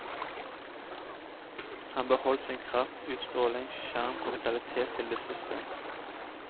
Han beholdt sin kraft, utstråling, sjarm og vitalitet til det siste.